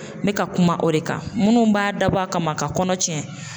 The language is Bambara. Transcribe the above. N bɛka kuma o de kan munnu b'a dabɔ a kama ka kɔnɔ tiɲɛ.